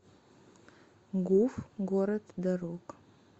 гуф город дорог